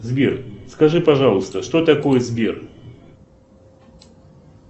сбер скажи пожалуйста что такое сбер